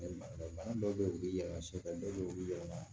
Bana dɔw be ye u bi yɛlɛma sɛ dɔw be yen u bi yɛlɛma